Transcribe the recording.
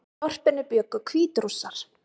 Í þorpinu bjuggu Hvítrússar